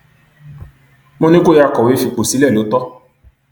mo ní kó yáa kọwé fipò sílẹ lọ tó